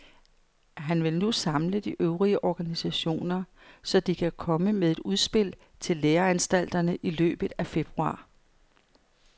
Han vil nu samle de øvrige organisationer, så de kan komme med et udspil til læreanstalterne i løbet af februar.